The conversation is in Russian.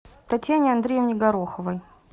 татьяне андреевне гороховой